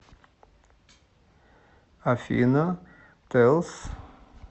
афина тиэлси